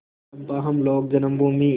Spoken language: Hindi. चंपा हम लोग जन्मभूमि